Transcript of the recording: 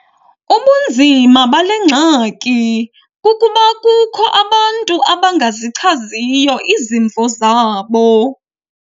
Ubunzima bale ngxaki kukuba kukho abantu abangazichaziyo izimvo zabo.